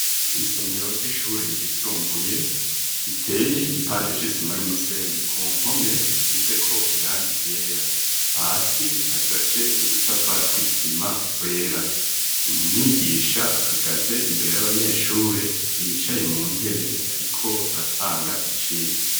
Isomero ry'ishure ryisumbuye iteye igipande c'isima n'umusenyi ku npome isizeko irangi ryera hasi hashashe udutafari tw'isima twera umwigisha ahagaze imbere y'abanyeshure bicaye mu ntebe ariko aratanga icirwa.